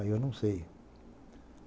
Ah, eu não sei.